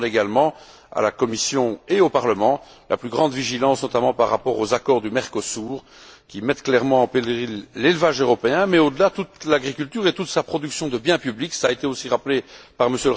Je demande également à la Commission et au Parlement la plus grande vigilance, notamment par rapport aux accords du Mercosur, qui mettent clairement en péril l'élevage européen mais, au delà, toute l'agriculture et toute sa production de biens publics cela a aussi été rappelé par M.